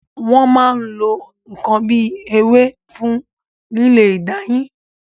Wọn máa ń lo n kan bíi ewé fún lílé ìdáyìn.